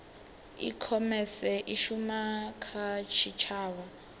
ikhomese i shuma kha tshitshavha